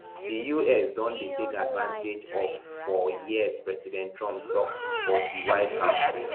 di us don dey take advantage of for years president trump tok for di white house briefing